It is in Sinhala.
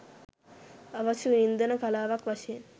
අවශ්‍ය වින්දන කලාවක් වශයෙන්